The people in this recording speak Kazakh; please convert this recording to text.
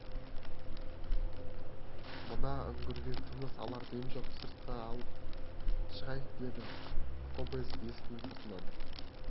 мына үңгірде тыныс алар дем жоқ сыртқа алып шығайық деді кобозев есіктің сыртынан